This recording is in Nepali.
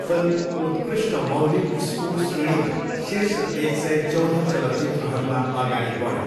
फिल्म उत्कृष्ट मौलिक स्कोर श्रेणीमा शीर्ष एक सय, चौध चलचित्रहरूमा अगाडि बढ्यो।